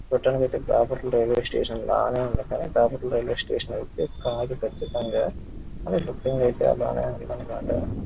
Railway station లాగ కనిపిస్తుంది. కానీ రైల్వే స్టేషన్ కాదు కచింతంగా--